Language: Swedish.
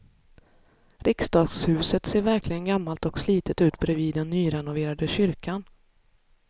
Riksdagshuset ser verkligen gammalt och slitet ut bredvid den nyrenoverade kyrkan.